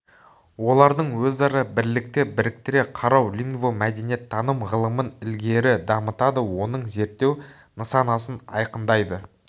олардың өзара бірлікте біріктіре қарау лингвомәдениеттаным ғылымын ілгері дамытады оның зерттеу нысанасын айқындайды